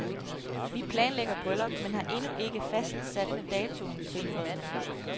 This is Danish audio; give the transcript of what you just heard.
Vi planlægger bryllup, men har endnu ikke fastsat datoen, tilføjede han.